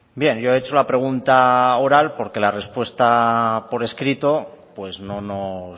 bien yo he hecho la pregunta oral porque la respuesta por escrito pues no nos